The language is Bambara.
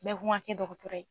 Bɛɛ ko n ka kɛ dɔgɔtɔrɔ ye.